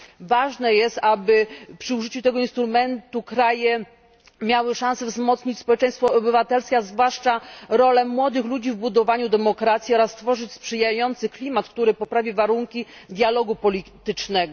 Ważne jest, aby przy użyciu tego instrumentu kraje miały szansę wzmocnić społeczeństwo obywatelskie, a zwłaszcza rolę młodych ludzi w budowaniu demokracji oraz tworzyć sprzyjający klimat, który poprawi warunki dialogu politycznego.